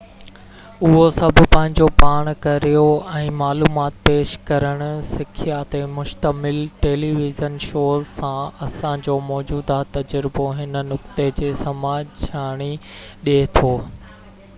اهو سڀ پنهنجو پاڻ ڪريو ۽ معلومات پيش ڪرڻ سکيا تي مشتمل ٽيلي ويزن شوز سان اسان جو موجوده تجربو هن نقطي جي سمجهاڻي ڏي ٿو